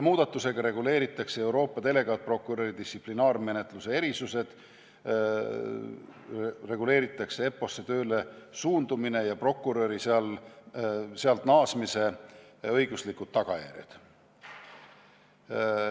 Muudatustega reguleeritakse Euroopa delegaatprokuröri distsiplinaarmenetluse erisused, reguleeritakse EPPO-sse tööle suundumise ja prokuröri sealt naasmise õiguslikud tagajärjed.